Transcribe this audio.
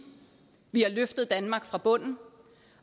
vi har løftet danmark fra bunden